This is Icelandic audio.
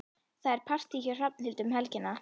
Það er partí hjá Hrafnhildi um helgina.